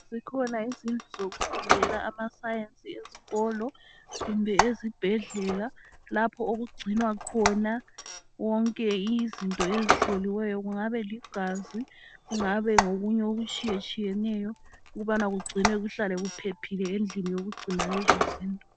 Zikhona izindlu zokufundela amaScience ezikolo kumbe ezibhedlela lapho okugcinwa khona konke izinto ezihloliweyo kungaba ligazi kungabe ngokunye okutshiyatshiyeneyo ukubana kugcinwe kuhlale kuphephile endlini yokugcina lezo zinto.